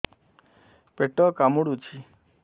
ପେଟ କାମୁଡୁଛି